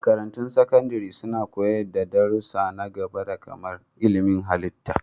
Makarantun Sakandare suna koyar da darussa na gaba kamar ilmin halitta.